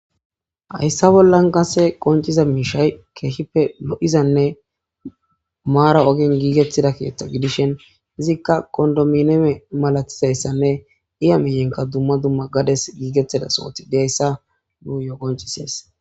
hayssa bollan kase qonciza miishay keehippe lo7izanne maara ogen giigettida kiyeththa gidishen izikka qondomineme malatizayssanne iya miyenka dumma dumma gades giigettida sooti deayssa nuu yoogoncisees